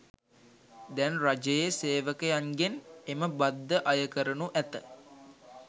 දැන් රජයේ සේවකයන්ගෙන් එම බද්ද අය කරනු ඇත.